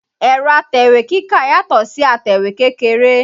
Ẹ̀rọ̀ atẹ̀wé kíkà yàtọ̀ si atẹ̀wé kékeré